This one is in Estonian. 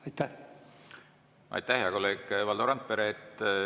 Aitäh, hea kolleeg Valdo Randpere!